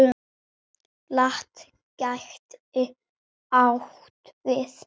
LAT gæti átt við